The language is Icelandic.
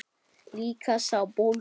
Líka sá bólgni.